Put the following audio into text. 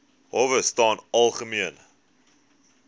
howe staan algemeen